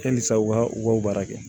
Halisa u ka u ka baara kɛ